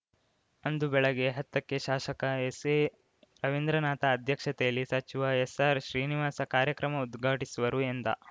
ಅಂದು ಬೆಳಗ್ಗೆ ಹತ್ತಕ್ಕೆ ಶಾಸಕ ಎಸ್‌ಎ ರವೀಂದ್ರನಾಥ ಅಧ್ಯಕ್ಷತೆಯಲ್ಲಿ ಸಚಿವ ಎಸ್‌ಆರ್‌ ಶ್ರೀನಿವಾಸ ಕಾರ್ಯಕ್ರಮ ಉದ್ಘಾಟಿಸುವರು ಎಂದ